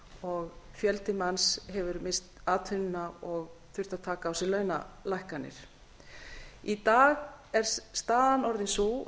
og fjöldi manns hefur misst atvinnuna og þurft að taka á sig launalækkanir í dag er staðan orðin sú